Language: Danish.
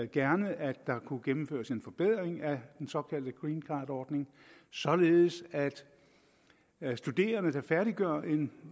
gerne at der kunne gennemføres en forbedring af den såkaldte green card ordning således at studerende der færdiggør en